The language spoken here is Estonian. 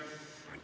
Aitäh!